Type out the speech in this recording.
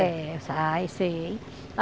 É, ah eu sei,